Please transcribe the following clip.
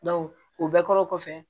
o bɛɛ kɔrɔ kɔfɛ